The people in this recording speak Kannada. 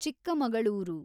ಚಿಕ್ಕಮಗಳೂರು